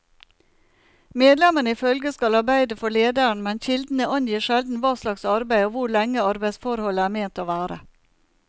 Medlemmene i følget skal arbeide for lederen, men kildene angir sjelden hva slags arbeid og hvor lenge arbeidsforholdet er ment å vare.